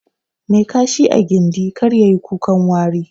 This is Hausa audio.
Mai Kashi a gindi, kar yayi kukan wari.